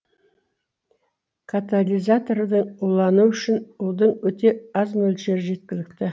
катализаторларды улануы үшін удың өте аз мөлшері жеткілікті